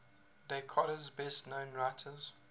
dakota's best known writers